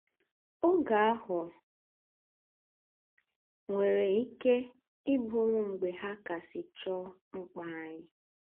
Ògé áhụ̀ nwèrè íké í bùrù mgbè hà kàsị́ choo ḿkpà ányị̀